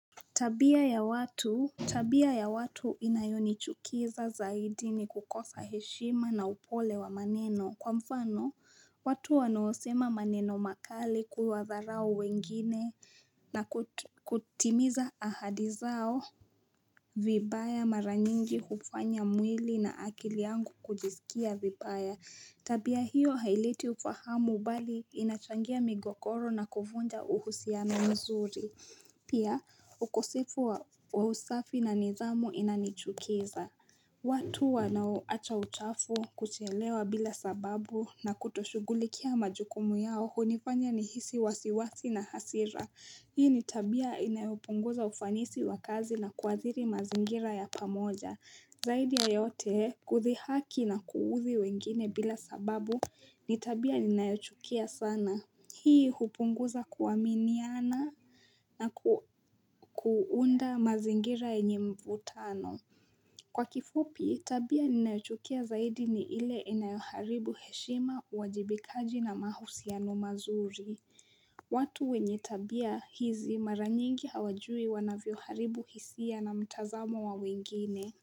Tabia ya watu, tabia ya watu inayonichukiza zaidi ni kukosa heshima na upole wa maneno. Kwa mfano, watu wanaosema maneno makali kuwatharau wengine na kutimiza ahadi zao vibaya mara nyingi hufanya mwili na akili yangu kujisikia vibaya. Tabia hiyo haileti ufahamu mbali inachangia migogoro na kuvunja uhusiano mzuri. Pia ukosefu wa usafi na nidhamu inanichukiza watu wanaoacha uchafu kuchelewa bila sababu na kutoshugulikia majukumu yao hunifanya nihisi wasiwasi na hasira Hii ni tabia inayopunguza ufanisi wa kazi na kuadhiri mazingira ya pamoja. Zaidi ya yote kudhihaki na kuudhi wengine bila sababu ni tabia ninayochukia sana. Hii hupunguza kuaminiana naku kuunda mazingira yenye mvutano Kwa kifupi tabia ninayochukia zaidi ni ile inayoharibu heshima, uwajibikaji na mahusiano mazuri. Watu wenye tabia hizi mara nyingi hawajui wanavyoharibu hisia na mtazamo wa wengine.